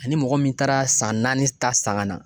Ani mɔgɔ min taara san naani ta san ka na